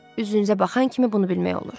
Üzünüzə baxan kimi bunu bilmək olur.